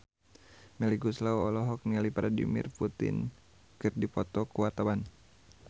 Melly Goeslaw jeung Vladimir Putin keur dipoto ku wartawan